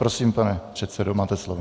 Prosím, pane předsedo, máte slovo.